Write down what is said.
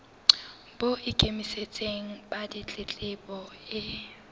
bo ikemetseng ba ditletlebo e